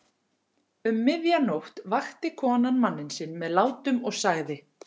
Um miðja nótt vakti konan mann sinn með látum og sagði